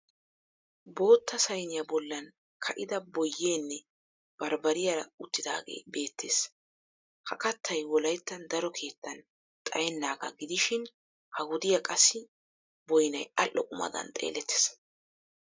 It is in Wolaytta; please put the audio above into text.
Bootta sayiniya bollan ka'ida boyyenne baribariyaara uttidaagee Bette's. Ha kattay wolayttan daro keettan xayennaagaa gidishin ha wodiya qassi boyinay adhdho qumadan xeellettes.